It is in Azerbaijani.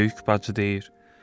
Böyük bacı deyir: